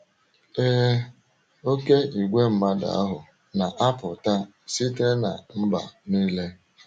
Ee, oké igwe mmadụ ahụ na - apụta site ‘ ná mba nile. ’